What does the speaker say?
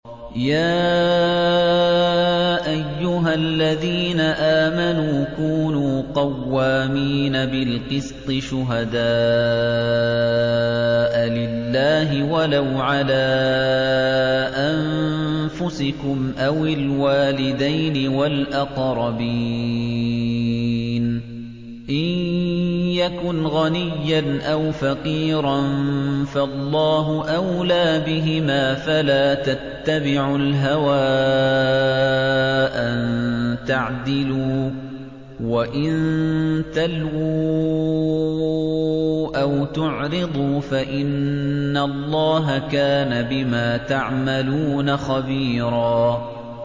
۞ يَا أَيُّهَا الَّذِينَ آمَنُوا كُونُوا قَوَّامِينَ بِالْقِسْطِ شُهَدَاءَ لِلَّهِ وَلَوْ عَلَىٰ أَنفُسِكُمْ أَوِ الْوَالِدَيْنِ وَالْأَقْرَبِينَ ۚ إِن يَكُنْ غَنِيًّا أَوْ فَقِيرًا فَاللَّهُ أَوْلَىٰ بِهِمَا ۖ فَلَا تَتَّبِعُوا الْهَوَىٰ أَن تَعْدِلُوا ۚ وَإِن تَلْوُوا أَوْ تُعْرِضُوا فَإِنَّ اللَّهَ كَانَ بِمَا تَعْمَلُونَ خَبِيرًا